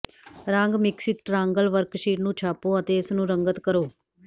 ਰੰਗ mixing triangle worksheet ਨੂੰ ਛਾਪੋ ਅਤੇ ਇਸ ਨੂੰ ਰੰਗਤ ਕਰੋ